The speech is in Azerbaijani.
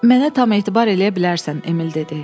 Mənə tam etibar eləyə bilərsən, Emil dedi.